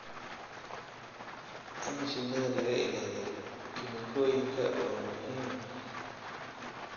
In shinnida laga ilaaliyo kiimikooyinka waa muhiim.